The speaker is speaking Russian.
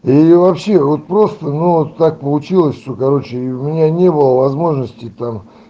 и вообще вот просто ну вот так получилось что короче у меня не было возможности там